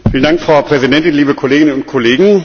Frau Präsidentin, liebe Kolleginnen und Kollegen!